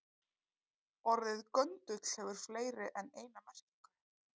Orðið göndull hefur fleiri en eina merkingu.